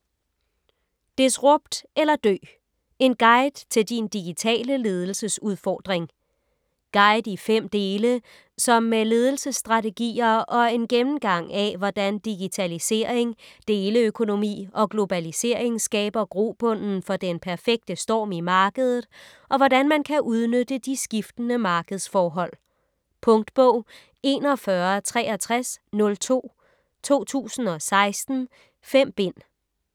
Disrupt eller dø: en guide til din digitale ledelsesudfordring Guide i fem dele, som med ledelsesstrategier og en gennemgang af hvordan digitalisering, deleøkonomi og globalisering skaber grobunden for den perfekte storm i markedet, og hvordan man kan udnytte de skiftende markedsforhold. Punktbog 416302 2016. 5 bind.